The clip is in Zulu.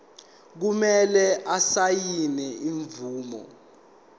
kumele asayine ifomu